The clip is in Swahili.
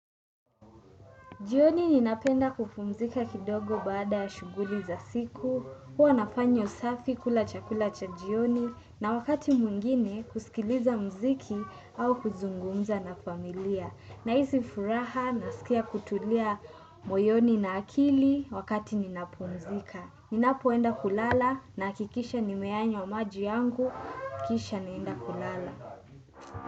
Jioni ninapenda kupumzika kidogo baada shughuli za siku, huwa nafanya usafi, kula chakula cha jioni na wakati mwingine kusikiliza muziki au kuzungumza na familia. Nahisi furaha nasikia kutulia moyoni na akili wakati ninapumzika. Ninapoenda kulala nahakikisha nimeyanywa maji yangu, kisha naenda kulala.